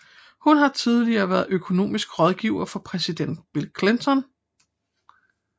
Hun har tidligere været økonomisk rådgiver for præsident Bill Clinton